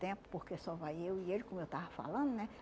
Tempo porque só vai eu e ele, como eu estava falando, né?